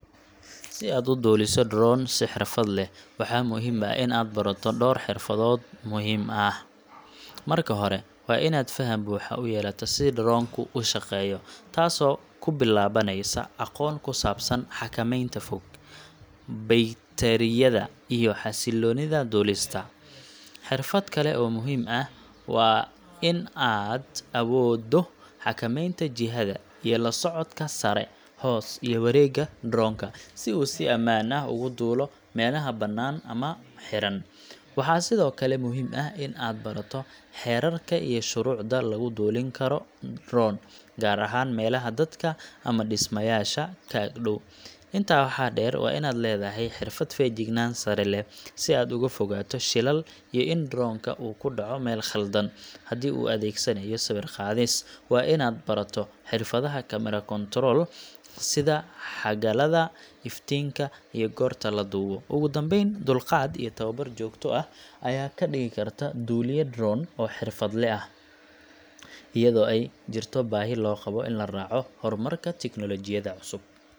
Si aad u duuliso drone si xirfad leh, waxaa muhiim ah in aad barato dhowr xirfadood muhiim ah. Marka hore, waa inaad faham buuxa u yeelataa sida drone ku u shaqeeyo taasoo ku bilaabaneysa aqoon ku saabsan xakamaynta fog(remote control), baytariyada, iyo xasiloonida duulista. Xirfad kale oo muhiim ah waa in aad awooddo xakameynta jihadaiyo la socodka sare, hoos, iyo wareegga drone ka, si uu si ammaan ah ugu duulo meelaha banaan ama xiran. Waxaa sidoo kale muhiim ah in aad barato xeerarka iyo shuruucda lagu duulin karo drone, gaar ahaan meelaha dadka ama dhismayaasha ka ag dhow. Intaa waxaa dheer, waa inaad leedahay xirfad feejignaan sare leh, si aad uga fogaato shilal iyo in drone ka uu ku dhaco meel khaldan. Haddii aad u adeegsanayso sawir qaadis, waa inaad barato xirfadaha camera control, sida xagalada, iftiinka, iyo goorta la duubo. Ugu dambeyn, dulqaad iyo tababar joogto ah ayaa kaa dhigi kara duuliye drone oo xirfadle ah, iyadoo ay jirto baahi loo qabo in la raaco horumarka tignoolajiyada cusub.